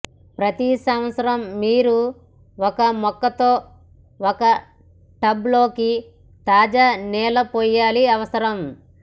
ప్రతి సంవత్సరం మీరు ఒక మొక్క తో ఒక టబ్ లోకి తాజా నేల పోయాలి అవసరం